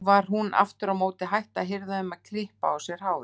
Nú var hún aftur á móti hætt að hirða um að klippa á sér hárið.